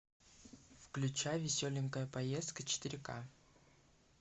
включай веселенькая поездка четыре ка